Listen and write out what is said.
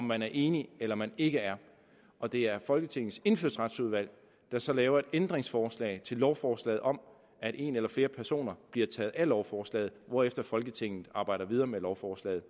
man er enig eller man ikke er og det er folketingets indfødsretsudvalg der så laver et ændringsforslag til lovforslaget om at en eller flere personer bliver taget af lovforslaget hvorefter folketinget arbejder videre med lovforslaget